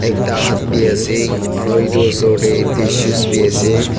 ekta haat bi asae aro etu osor dae tissues bi asae.